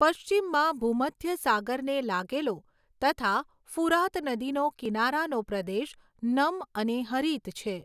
પશ્ચિમમાં ભૂમધ્ય સાગરને લાગેલો તથા ફુરાત નદીનો કિનારાનો પ્રદેશ નમ અને હરિત છે.